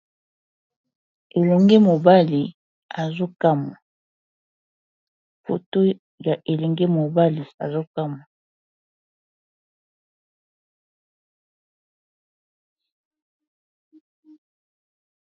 Foto ya elenge mobali azokamwa.